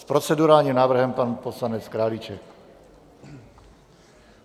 S procedurálním návrhem pan poslanec Králíček.